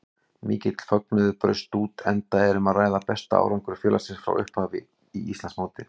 Mikill fögnuður braust út enda um að ræða besta árangur félagsins frá upphafi í Íslandsmóti.